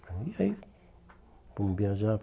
E aí fomos viajar,